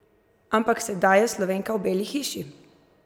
Ampak sedaj je Slovenka v Beli hiši!